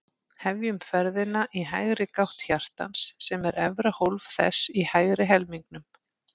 Hefjum ferðina í hægri gátt hjartans, sem er efra hólf þess í hægri helmingnum.